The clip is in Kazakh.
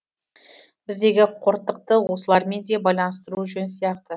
біздегі қортықты осылармен де байланыстыру жөн сияқты